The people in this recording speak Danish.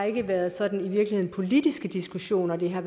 ikke været sådan politiske diskussioner det har